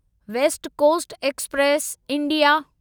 waste coast express India